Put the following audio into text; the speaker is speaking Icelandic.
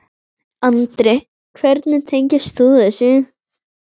Andri: Hvernig tengist þú þessu?